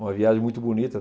Uma viagem muito bonita.